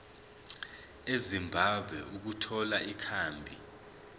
ezimbabwe ukuthola ikhambi